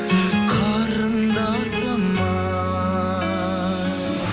қарындасым ай